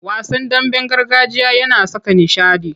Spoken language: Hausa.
Wasan damben gargajiya yana saka nishaɗi.